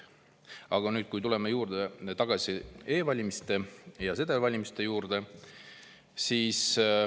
Aga tuleme tagasi e-valimiste ja sedelvalimiste juurde.